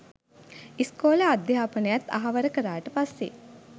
ඉස්කෝලේ අධ්‍යාපනයත් අහවර කරාට පස්සේ